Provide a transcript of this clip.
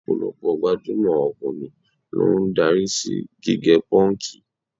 Ọ̀pọ̀lọpọ̀ gbajúmọ̀ ọkùnrin ló ń darí sí gígẹ pọ́ǹkì.